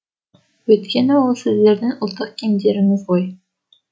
өйткені ол сіздердің ұлттық киімдеріңіз ғой